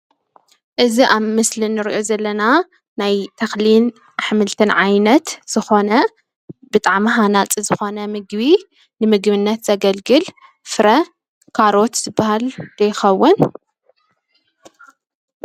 እዚ አብ ምስሊ እንሪኦ ዘለና ናይ ተኽልን አሕምልትን ዓይነት ዝኾነ ብጣዕሚ ሃናፂ ዝኾነ ምግቢ ንምግብነት ዘገልግል ፍረ ካሮት ዝበሃል ዶ ይኸውን?